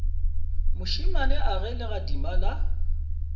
mošemane a ge legadima la